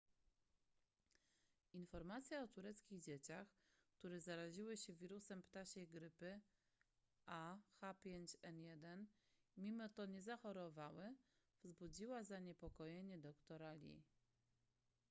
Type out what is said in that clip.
informacja o tureckich dzieciach które zaraziły się wirusem ptasiej grypy ah5n1 i mimo to nie zachorowały wzbudziła zaniepokojenie doktora lee